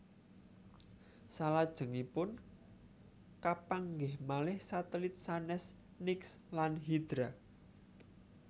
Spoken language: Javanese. Salajengipun kapanggih malih satelit sanès Nix lan Hydra